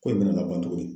Ko in bɛna laban cogo di